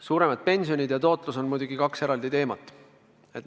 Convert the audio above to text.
Suuremad pensionid ja suurem tootlus on muidugi kaks eraldi teemat.